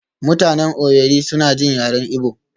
mutanen Owerri suna jin yaren Igbo